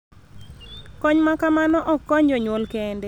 Kony ma kamano ok konyo jonyuol kende .